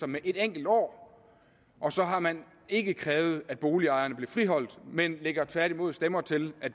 med et enkelt år og så har man ikke krævet at boligejerne bliver friholdt men lægger tværtimod stemmer til at